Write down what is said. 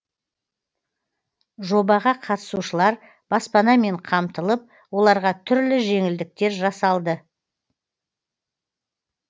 жобаға қатысушылар баспанамен қамтылып оларға түрлі жеңілдіктер жасалды